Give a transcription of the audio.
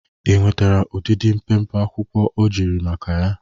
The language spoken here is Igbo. Ị nwetere ọdịdị mpempe akwụkwọ ọ jụrụ maka ya?